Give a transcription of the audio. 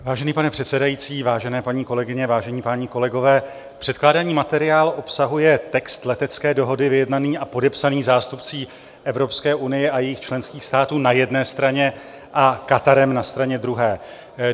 Vážený pane předsedající, vážené paní kolegyně, vážení páni kolegové, předkládaný materiál obsahuje text letecké dohody vyjednaný a podepsaný zástupci Evropské unie a jejích členských států na jedné straně a Katarem na straně druhé.